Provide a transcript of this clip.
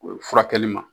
O furakɛli ma